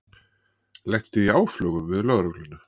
Lenti í áflogum við lögregluna